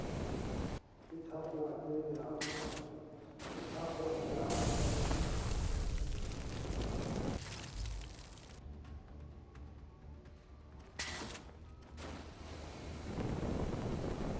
e thakgoha ke ha ho